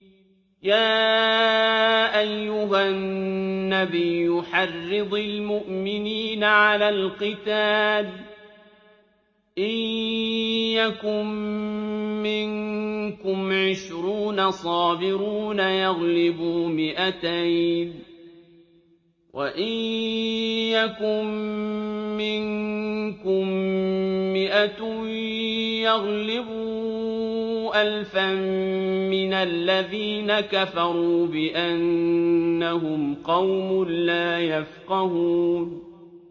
يَا أَيُّهَا النَّبِيُّ حَرِّضِ الْمُؤْمِنِينَ عَلَى الْقِتَالِ ۚ إِن يَكُن مِّنكُمْ عِشْرُونَ صَابِرُونَ يَغْلِبُوا مِائَتَيْنِ ۚ وَإِن يَكُن مِّنكُم مِّائَةٌ يَغْلِبُوا أَلْفًا مِّنَ الَّذِينَ كَفَرُوا بِأَنَّهُمْ قَوْمٌ لَّا يَفْقَهُونَ